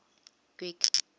greek